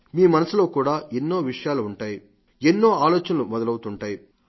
మీ మనసులో కూడా ఎన్నో విషయాలు ఉంటాయి ఎన్నో ఆలోచనలు మొదలవుతుంటాయి